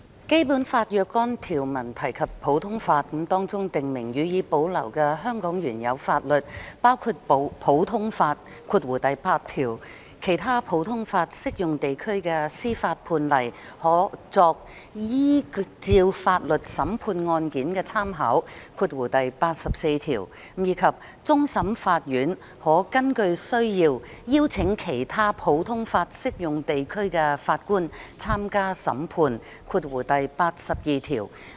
《基本法》若干條文提及普通法，當中訂明：予以保留的香港原有法律包括普通法、其他普通法適用地區的司法判例可作依照法律審判案件的參考，以及終審法院可根據需要邀請其他普通法適用地區的法官參加審判。